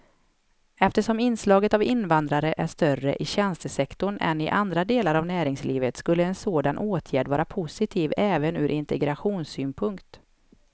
Eftersom inslaget av invandrare är större i tjänstesektorn än i andra delar av näringslivet skulle en sådan åtgärd vara positiv även ur integrationssynpunkt.